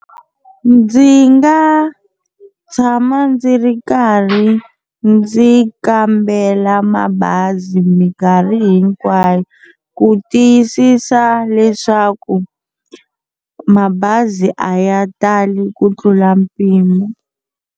Ndzi nga tshama ndzi ri karhi ndzi kambela mabazi mikarhi hinkwayo ku tiyisisa leswaku mabazi a ya tali ku tlula mpimo.